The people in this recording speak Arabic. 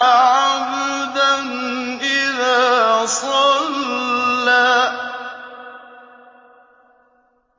عَبْدًا إِذَا صَلَّىٰ